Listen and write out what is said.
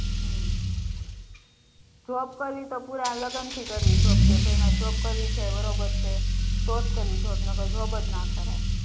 હમ્મ job કરવી તો પુરા લગન થી કરવી કે ભાઈ મારે જોબ કરવી છે બરોબર છે તો જ કરવી છે નહીંતર job જ ના કરાય